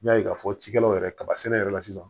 N y'a ye k'a fɔ cikɛlaw yɛrɛ kaba sɛnɛ yɛrɛ la sisan